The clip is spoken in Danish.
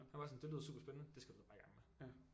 Han var sådan det lyder super spændende det skal du da bare i gang med